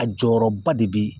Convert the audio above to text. A jɔyɔrɔba de be yen